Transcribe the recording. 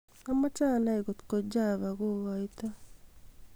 amoche anai kotko java koigoito